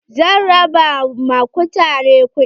Zan raba ma kutare kuɗi.